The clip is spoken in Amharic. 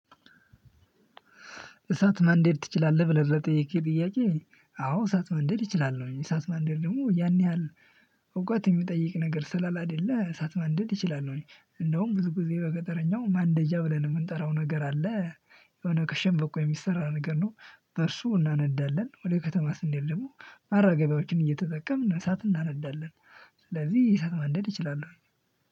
እሳት ማንደድ ትችላለህ ብለህ ለጠየከኝ ጥያቄ? አዎ እሳት ማንደድ እችላለሁ። እሳት ማንደድ ደግሞ ያን ያህል እውቀት የሚጠይቅ ነገር ስላይደለ እሳት ማንደድ እችላል። እንደውም ብዙ ጊዜ በገጠረኛው ማንደጃ ብለን የምንጠራው ነገር አለ። የሆነ ከሸምበቆ የሚሰራ ነገር ነው። በእርሱ እናነዳለን ወደ ከተማ ስንሄድ ደግሞ መራገቢያዎችን እየተጠቀምን እሳት እናነዳለን። ስለዚህ እሳት ማንደድ እችላለሁ።